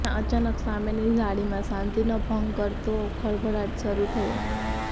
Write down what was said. ત્યાં અચાનક સામેની ઝાડીમાં શાંતિનો ભંગ કરતો ખળભળાટ શરૂ થયો